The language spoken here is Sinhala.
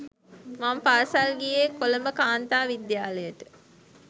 මම පාසල් ගියේ කොළඹකාන්තා විද්‍යාලයට